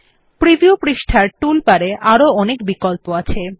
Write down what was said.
preview পৃষ্ঠার tool বারে আরো অনেক বিকল্প আছে